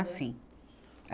Ah, sim.